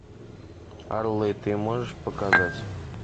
орлы ты можешь показать